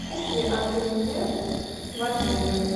есть ли ателье в отеле